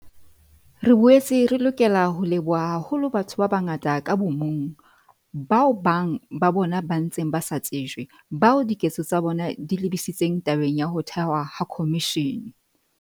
Re boetse re lokela ho leboha haholo batho ba bangata ka bo mong, bao bang ba bona ba ntseng ba sa tsejwe, bao diketso tsa bona di lebisitseng tabeng ya ho thehwa ha khomishene.